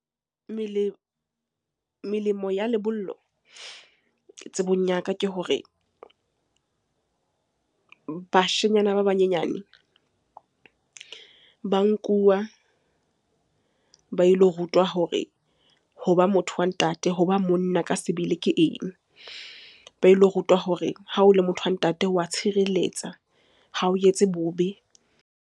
Melemo ya lebollo tsebong ya ka ke hore, bashenyana ba banyenyane ba nkuwa ba ilo rutwa hore hoba motho wa ntate, hoba monna ka sebele ke eng? Ba ilo rutwa hore ha o le motho wa ntate wa tshireletsa, ha o etse bobe.